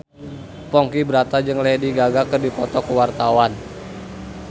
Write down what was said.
Ponky Brata jeung Lady Gaga keur dipoto ku wartawan